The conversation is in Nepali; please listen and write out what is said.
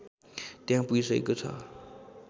त्यहाँ पुगिसकेको छ